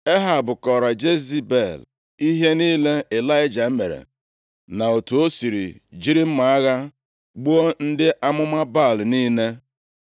Ehab kọọrọ Jezebel ihe niile Ịlaịja mere, na otu o si jiri mma agha gbuo ndị amụma Baal niile.